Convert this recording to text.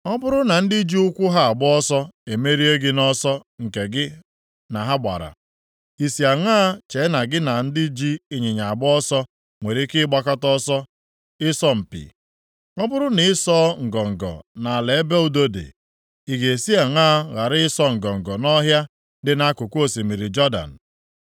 “Ọ bụrụ na ndị ji ụkwụ ha agba ọsọ emerie gị nʼọsọ nke gị na ha gbara, i si aṅaa chee na gị na ndị ji ịnyịnya agba ọsọ nwere ike ịgbakọta ọsọ ịsọ mpi? Ọ bụrụ na ị sọọ ngọngọ nʼala ebe udo dị, ị ga-esi aṅaa ghara ịsọ ngọngọ nʼọhịa dị nʼakụkụ osimiri Jọdan?